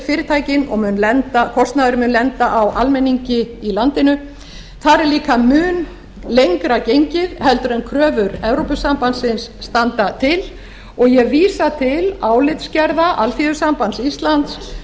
fyrirtækin og kostnaðurinn mun lenda á almenningi í landinu þar er líka mun lengra gengið er kröfur evrópusambandsins standa til og ég vísa til álitsgerða alþýðusambands íslands